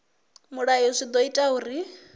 mulayo zwi ḓo ita uri